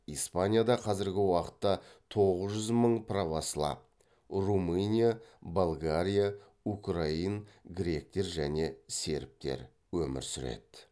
испанияда қазіргі уақытта тоғыз жүз мың православ өмір сүреді